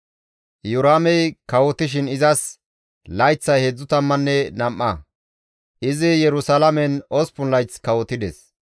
Iyoraamey kawotishin izas layththay 32; izi Yerusalaamen 8 layth kawotides.